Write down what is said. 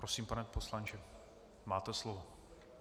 Prosím, pane poslanče, máte slovo.